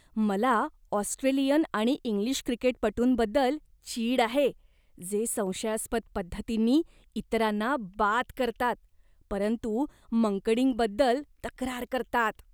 मला ऑस्ट्रेलियन आणि इंग्लिश क्रिकेटपटूंबद्दल चीड आहे, जे संशयास्पद पद्धतींनी इतरांना बाद करतात परंतु मंकडिंगबद्दल तक्रार करतात.